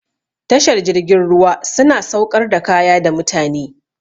Tashar jirgin ruwa su na sauƙar da kaya da mutane.